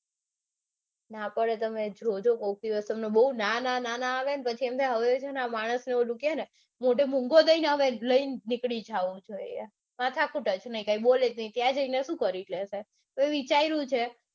ના પડે તમે જોજો કોક દિવસ બૌ ના ના આવે તમને પછી એમ થાય કે માણસ ને ઓલું કેને કે લઈને નીકળી જાઉં છે. માથાકૂટ જ નઈ ત્યાં જઈને શું કરી લેશે. તો એ વિચાર્યું છે કે